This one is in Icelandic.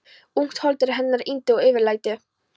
Ungt hold er hennar yndi og eftirlæti.